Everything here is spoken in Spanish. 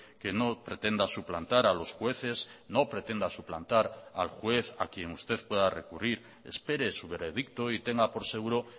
que no pretenda suplantar a los jueces no pretenda suplantar al juez a quien usted pueda recurrir espere su veredicto y tenga por seguro